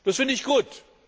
Das finde ich gut.